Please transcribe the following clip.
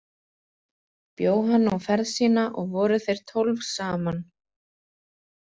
Bjó hann nú ferð sína og voru þeir tólf saman.